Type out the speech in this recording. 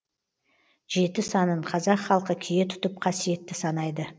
жеті санын қазақ халқы кие тұтып қасиетті санайды